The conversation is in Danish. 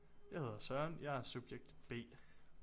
Jeg hedder Søren og jeg er subjekt B